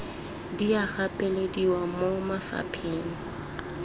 di a gapelediwa mo mafapheng